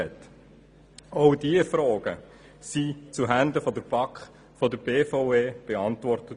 Auch diese Fragen wurden von der BVE zuhanden der BaK beantwortet.